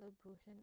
la buuxin